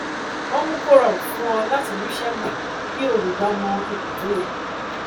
wọn mú kó rọrùn fún ọ láti ríṣẹ gbà kí olùgba mọ ipò tó yẹ